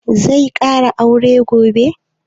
Zai ƙara aure gobe?